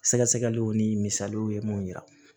Sɛgɛsɛgɛliw ni misaliw ye mun yira